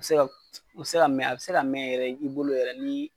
Bi se ka a bi se ka mɛ yɛrɛ i bolo yɛrɛ ni.